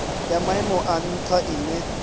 ya maimo a ntha ine